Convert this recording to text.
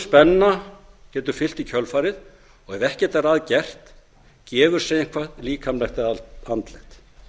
spenna getur fylgt í kjölfarið og ef ekkert er að gert gefur sig eitthvað líkamlegt eða andlegt